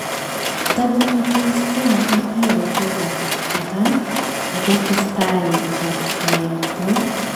Takomitei Stena Impero peek ab. Iran akotesetai ketektoi